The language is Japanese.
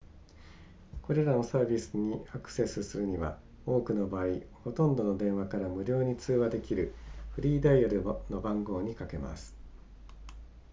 これらのサービスにアクセスするには多くの場合ほとんどの電話から無料で通話できるフリーダイヤルの番号にかけます